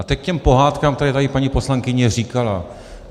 A teď k těm pohádkám, které tady paní poslankyně říkala.